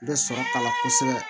N bɛ sɔrɔ k'a la kosɛbɛ